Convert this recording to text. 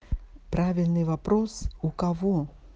правильный вопрос у кого